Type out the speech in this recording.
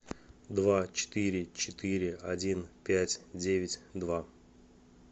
два четыре четыре один пять девять два